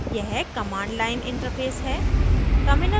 यह command line interface है